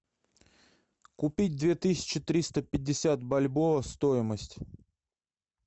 купить две тысячи триста пятьдесят бальбоа стоимость